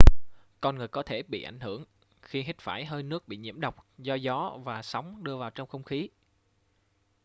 con người có thể bị ảnh hưởng khi hít phải hơi nước bị nhiễm độc do gió và sóng đưa vào trong không khí